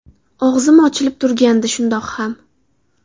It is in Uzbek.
Og‘zim ochilib turgandi shundoq ham”.